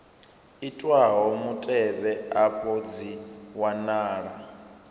itwaho mutevhe afha dzi wanala